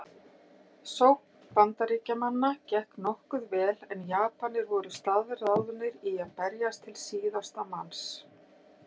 Sókn Bandaríkjamanna gekk nokkuð vel en Japanir voru staðráðnir í að berjast til síðasta manns.